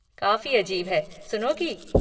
काफ़ी अजीब है, सुनोगी?